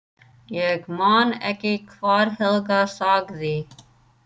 Ég man ekki hvað Helga sagði.